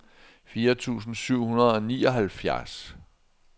fire tusind syv hundrede og nioghalvfjerds